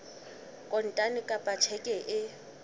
kontane kapa ka tjheke e